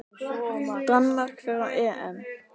Danmörk fer á EM.